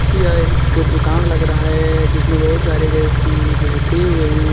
यह एक दुकान लग रहा है जिसमें बहुत सारे व्यक्ति बैठे हुए हैं।